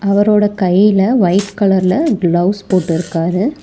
அவரோட கையில ஒயிட் கலர்ல க்ளவுஸ் போட்டுருக்காரு.